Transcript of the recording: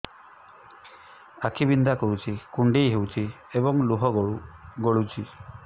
ଆଖି ବିନ୍ଧା କରୁଛି କୁଣ୍ଡେଇ ହେଉଛି ଏବଂ ଲୁହ ଗଳୁଛି